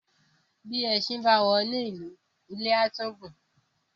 Bí èsìn ba woni lù ilé a tún gun ún.